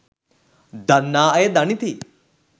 දන්නා අය දනිති